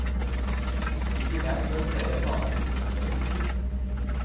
I tillegg står flere planlagte prosjekter for tur.